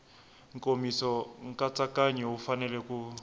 nkomiso nkatsakanyo wu fanele ku